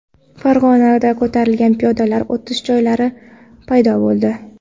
Farg‘onada ko‘tarilgan piyodalar o‘tish joylari paydo bo‘ldi.